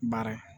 Baara